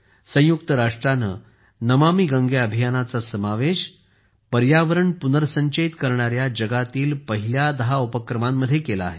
संयुक्त राष्ट्राने नमामि गंगे अभियानाचा समावेश हा पर्यावरण पुनर्संचयित करणाऱ्या जगातील पहिल्या दहा उपक्रमांमध्ये केला आहे